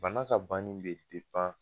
Bana ka banni bɛ